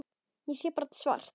Ég sé bara svart.